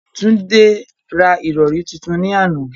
Tunde ra ìrọ̀rí tuntun ní àná.